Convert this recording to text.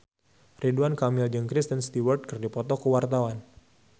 Ridwan Kamil jeung Kristen Stewart keur dipoto ku wartawan